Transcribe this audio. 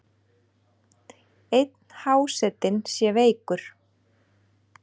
Einn hásetinn sé veikur.